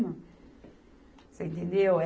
Você entendeu?